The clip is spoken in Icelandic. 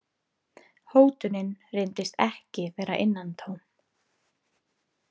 Hótunin reyndist ekki vera innantóm.